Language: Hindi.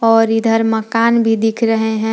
और इधर मकान भी दिख रहे हैं।